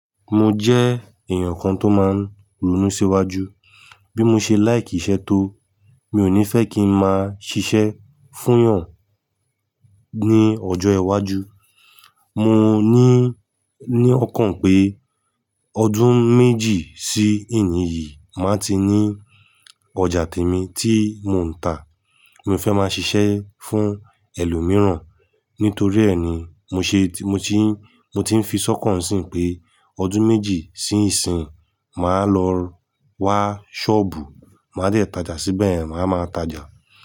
Mo jẹ́ èèyàn kan tó máa ń ronú síwájú. Bí mo ṣe like iṣẹ́ tó, mi ò ní fẹ́ kí n máa ṣiṣẹ́ fún èèyàn ní ọjọ́ iwájú. Mò ní, ní ọkàn pé ọdún méjì sí ẹni yìí, màá ti ní ọjà tèmi tí mò ń tà. Mo fẹ́ máa ṣiṣẹ́ fún ẹlòmíràn. Nítorí ẹ ní mo ṣe, mo ti mo ti ń fi sọ́kàn síí pé ọdún méjì sí ìsín, màá lọ wá ṣọ́ọ̀bù, màá jẹ́ tajà síbẹ̀, màá máa tajà.